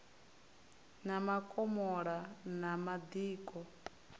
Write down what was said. na makomola na madiko a